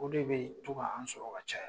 O de bɛ tu' an sɔrɔ ka caya.